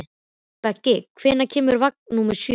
Beggi, hvenær kemur vagn númer sjö?